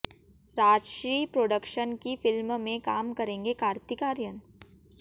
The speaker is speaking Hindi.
राजश्री प्रोडक्शंस की फिल्म में काम करेंगे कार्तिक आर्यन